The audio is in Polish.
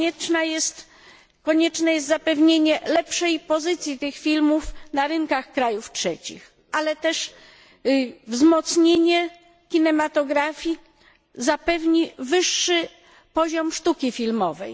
Konieczne jest zapewnienie lepszej pozycji tych filmów na rynkach krajów trzecich, ale wzmocnienie kinematografii zapewni też wyższy poziom sztuki filmowej.